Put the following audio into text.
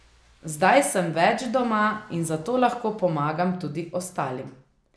Zdaj sem več doma in zato lahko pomagam tudi ostalim.